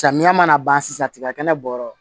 Samiya mana ban sisan tiga kɛnɛ bɔ yɔrɔ